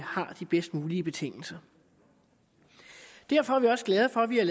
har de bedst mulige betingelser derfor er vi også glade for at vi har